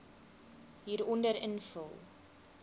hieronder invul